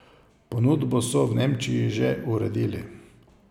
Ponudbo so v Nemčiji že uredili.